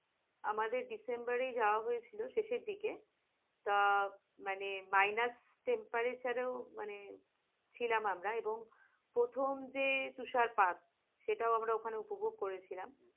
আমাদের december এ যাওয়া হয়েছিল শেষের দিকে, আহ মানে minas temparate মানে ছিলাম আমরা, এবং প্রথম যে তুষারপাত সেটাও আমরা ওখানে উপভোগ করেছিলাম।